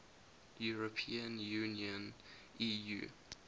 european union eu